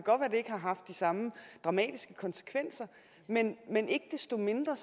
ikke har haft de samme dramatiske konsekvenser men ikke desto mindre